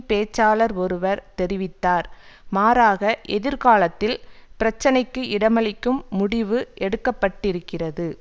பேச்சாளர் ஒருவர் தெரிவித்தார் மாறாக எதிர்காலத்தில் பிரச்சனைக்கு இடமளிக்கும் முடிவு எடுக்கப்பட்டிருக்கிறது